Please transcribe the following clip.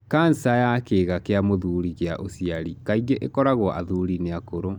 Cancer ya kĩga kĩa mũthurĩ kĩa ũciari kaingĩ ĩkoragwo athuri-inĩ akũrũ.